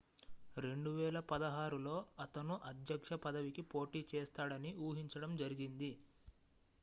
2016లో అతను అధ్యక్ష పదవికి పోటీ చేస్తాడని ఊహించడం జరిగింది